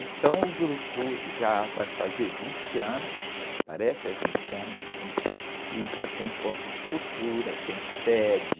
Então o grupo já vai fazer vinte anos, parece, é vinte anos sim, e já tem ponto de cultura, tem sede,